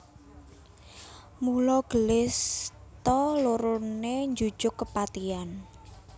Mula gelis ta loroné njujug kapatihan